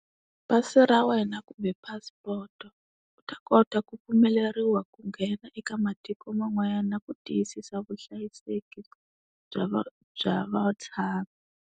Pasi ra wena kumbe passport. U ta kota ku pfumeleriwa ku nghena eka matiko man'wanyana na ku tiyisisa vuhlayiseki, bya va bya vatshami.